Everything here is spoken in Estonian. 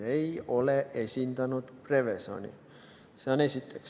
Ta ei ole esindanud Prevezoni, seda esiteks.